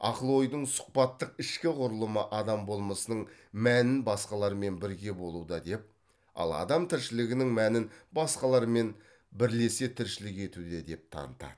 ақыл ойдың сұхбаттық ішкі құрылымы адам болмысының мәнін басқалармен бірге болуда деп ал адам тіршілігінің мәнін басқалармен бірлесе тіршілік етуде деп танытады